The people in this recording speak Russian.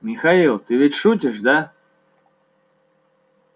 михаил ты ведь шутишь да